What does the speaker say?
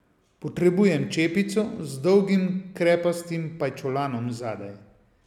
Potrebujem čepico z dolgim krepastim pajčolanom zadaj.